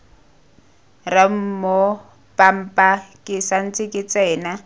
ramoopampa ke santse ke tsena